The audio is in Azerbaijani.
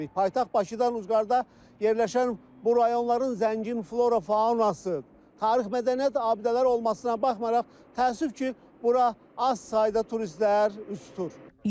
Paytaxt Bakıdan ucqarda yerləşən bu rayonların zəngin flora-faunası, tarix-mədəniyyət abidələri olmasına baxmayaraq, təəssüf ki, bura az sayda turistlər üz tutur.